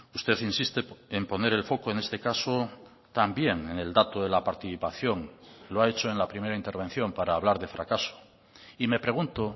usted insiste en poner el foco en este caso también en el dato de la participación lo ha hecho en la primera intervención para hablar de fracaso y me pregunto